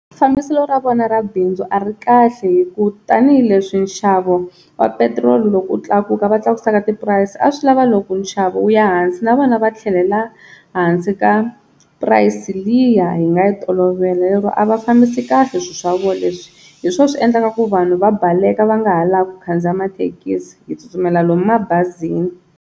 Fambiselo ra vona ra bindzu a ri kahle hi ku tanihileswi nxavo wa petiroli loko wu tlakuka va tlakusa na tipurayisi, a swi lava loko nxavo wu ya hansi na vona va tlhelela hansi ka price liya hi nga yi tolovela, lero a va fambisi kahle swi swa vona leswi hi swoho swi endlaka ku vanhu va baleka va nga ha lavi ku khandziya mathekisi hi tsutsumela lomu mabazini.